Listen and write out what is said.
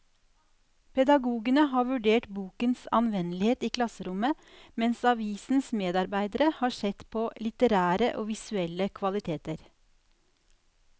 Pedagogene har vurdert bokens anvendelighet i klasserommet, mens avisens medarbeidere har sett på litterære og visuelle kvaliteter.